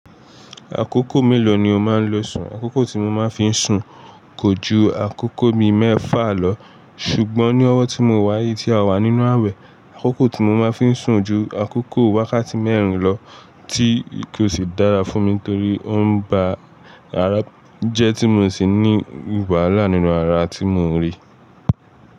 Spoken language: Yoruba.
Àkókò mélòó ni o máa ń lo sùn? Àkókò tí mo máa fi n sùn kò ju àkókò bi mẹ́fà lọ ṣùgbọ́n ní ọwọ́ tí mo wá yii tí a wà nínú ààwẹ̀, àkókò tí mo máa fi ń sùn ju àkókò wákàtí mẹ́rin lọ tí ko sì dára fún mi torí ó ń ba ara jẹ tí mò sì ní wàhálà nínú ara tí mò ń rí.